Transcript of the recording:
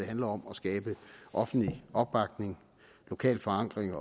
handler om at skabe offentlig opbakning lokal forankring